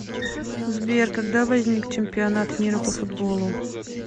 сбер когда возник чемпионат мира по футболу